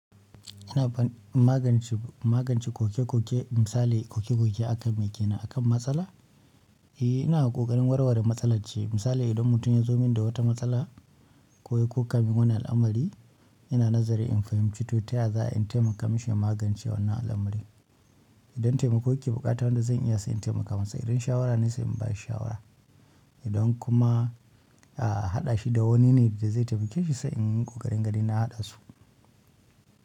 Ana ban magance, magance koke-koke misali koke-koke akanme kenan? Akan matsala! Eh ina ƙoƙarin warware matsalar ce misali idan mutum yazo min da wata matsala koya kokamin wani al'amari. Ina nazari in fahimci to taya za'ayi in taimaka mishi magance wannan al'amari. Idan taimako yake bukata wanda zan iya sai in taimaka masa idan shawara ne sai in bashi shawara idan kuma a hada shi da wani ne da zai taimake shi sai in yi ƙoƙarin ganin na hada su.